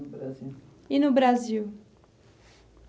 E no Brasil?